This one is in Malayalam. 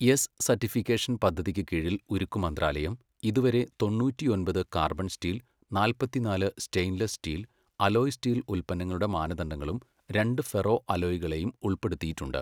എസ് സർട്ടിഫിക്കേഷൻ പദ്ധതിക്ക് കീഴിൽ ഉരുക്കുമന്ത്രാലയം ഇതുവരെ തൊണ്ണൂറ്റിയൊൻപത് കാർബൺ സ്റ്റീൽ , നാല്പത്തിനാല് സ്റ്റെയിൻലെസ് സ്റ്റീൽ അലോയ് സ്റ്റീൽ ഉൽപ്പന്നങ്ങളുടെ മാനദണ്ഡങ്ങളും, രണ്ട് ഫെറോ അലോയ്കളേയും ഉൾപ്പെടുത്തിയിട്ടുണ്ട്.